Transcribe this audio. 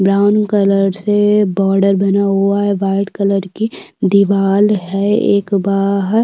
Brown colour से border बना हुआ है व्हाइट कलर की दीवाल है एक बाहर।